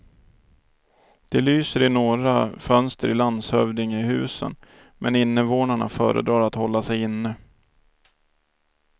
Det lyser i några fönster i landshövdingehusen, men invånarna föredrar att hålla sig inne.